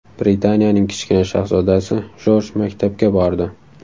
Britaniyaning kichkina shahzodasi Jorj maktabga bordi.